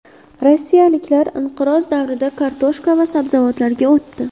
Rossiyaliklar inqiroz davrida kartoshka va sabzavotlarga o‘tdi.